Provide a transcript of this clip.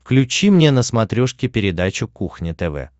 включи мне на смотрешке передачу кухня тв